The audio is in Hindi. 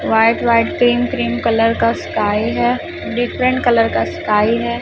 White white cream cream colour का स्काई है डिफरेंट कलर का स्काई है।